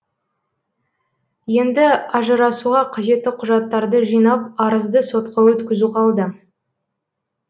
енді ажырасуға қажетті құжаттарды жинап арызды сотқа өткізу қалды